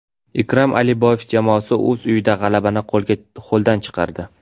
Ikrom Aliboyev jamoasi o‘z uyida g‘alabani qo‘ldan chiqardi.